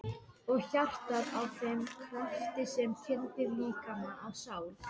Og hjartað að þeim krafti sem kyndir líkama og sál?